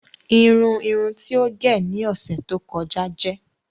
Irùn irùn tí o gé ni ọṣẹ tó kọ̀jà jẹ̀.